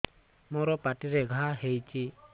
ମୋର ପାଟିରେ ଘା ହେଇଚି